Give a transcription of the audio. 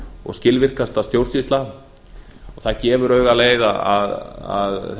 og skilvirkasta stjórnsýsla það gefur auga leið að